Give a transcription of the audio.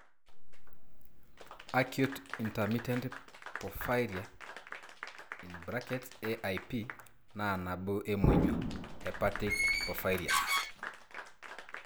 Acute intermittent porphyria (AIP) naa nabo emonyua (hepatic) porphyrias.